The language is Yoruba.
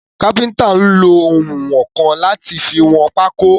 Káfíntà nlo ounwọ̀nkan láti fi wọn pákó.